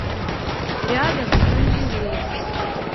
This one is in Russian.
рядом оранжерея